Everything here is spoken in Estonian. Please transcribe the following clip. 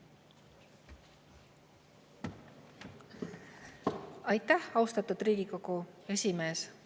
Aitäh, austatud Riigikogu esimees!